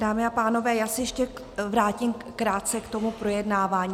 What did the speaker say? Dámy a pánové, já se ještě vrátím krátce k tomu projednávání.